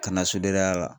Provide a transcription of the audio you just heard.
Kana sodendey'a la